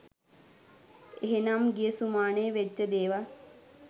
එහෙමනම් ගිය සුමානේ වෙච්ච දේවල්